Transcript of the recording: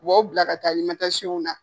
U b'aw bila ka taa na.